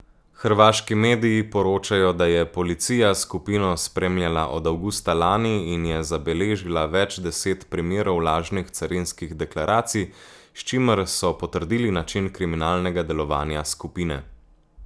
Hrvaški mediji poročajo, da je policija skupino spremljala od avgusta lani in je zabeležila več deset primerov lažnih carinskih deklaracij, s čimer so potrdili način kriminalnega delovanja skupine.